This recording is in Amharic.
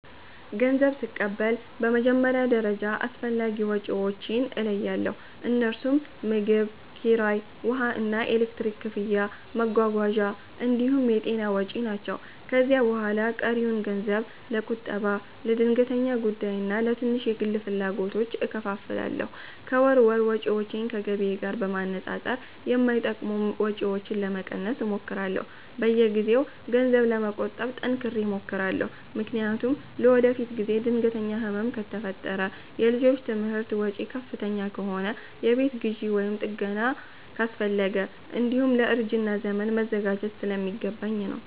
ገንዘብ ስቀበል በመጀመሪያ ደረጃ አስፈላጊ ወጪዎቼን እለያለሁ፤ እነርሱም ምግብ፣ ኪራይ፣ ውሃና ኤሌክትሪክ ክፍያ፣ መጓጓዣ እንዲሁም የጤና ወጪ ናቸው። ከዚያ በኋላ ቀሪውን ገንዘብ ለቁጠባ፣ ለድንገተኛ ጉዳይና ለትንሽ የግል ፍላጎቶች እከፋፍላለሁ። ከወር ወር ወጪዎቼን ከገቢዬ ጋር በማነጻጸር የማይጠቅሙ ወጪዎችን ለመቀነስ እሞክራለሁ። በየጊዜው ገንዘብ ለመቆጠብ ጠንክሬ እሞክራለሁ፤ ምክንያቱም ለወደፊት ጊዜ ድንገተኛ ህመም ከፈጠረ፣ የልጆች ትምህርት ወጪ ከፍተኛ ከሆነ፣ የቤት ግዢ ወይም ጥገና አስፈለገ፣ እንዲሁም ለእርጅና ዘመን መዘጋጀት ስለሚገባኝ ነው።